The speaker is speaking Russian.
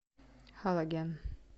халоген